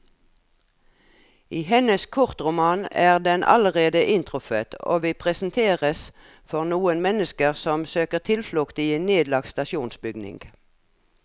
I hennes kortroman er den allerede inntruffet, og vi presenteres for noen mennesker som søker tilflukt i en nedlagt stasjonsbygning.